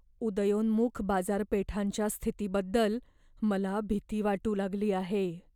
उदयोन्मुख बाजारपेठांच्या स्थितीबद्दल मला भीती वाटू लागली आहे.